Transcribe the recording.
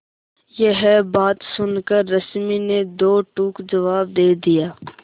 यह बात सुनकर रश्मि ने दो टूक जवाब दे दिया